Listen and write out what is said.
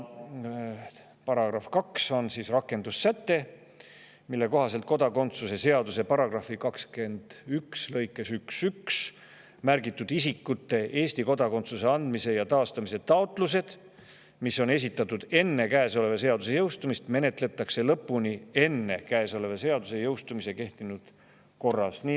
Paragrahv 2 on rakendussäte, mille kohaselt kodakondsuse seaduse § 21 lõikes 11 märgitud isikute Eesti kodakondsuse andmise ja taastamise taotlused, mis on esitatud enne käesoleva seaduse jõustumist, menetletakse lõpuni enne seaduse jõustumist kehtinud korras.